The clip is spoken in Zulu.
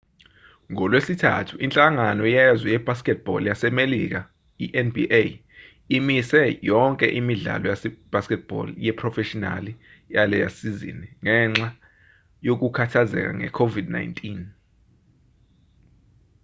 ngolwesithathu inhlangano yezwe ye-basketball yasemelika nba imise yonke imidlalo ye-basketball yeprofeshinali yalesizini ngenxa yokukhathazeka nge-covid 19